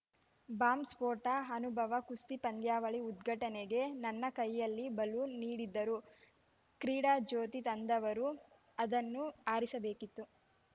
bomb ಸ್ಫೋಟ ಅನುಭವ ಕುಸ್ತಿ ಪಂದ್ಯಾವಳಿ ಉದ್ಘಾಟನೆಗೆ ನನ್ನ ಕೈಯಲ್ಲಿ ಬಲೂನ್‌ ನೀಡಿದರು ಕ್ರೀಡಾಜ್ಯೋತಿ ತಂದವರು ಅದನ್ನು ಆರಿಸಬೇಕಿತ್ತು